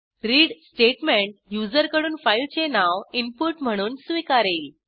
read statement युजरकडून फाईलचे नाव इनपुट म्हणून स्वीकारेल